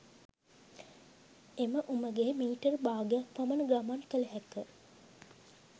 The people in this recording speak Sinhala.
එම උමගේ මීටර් භාගයක් පමණ ගමන් කළ හැක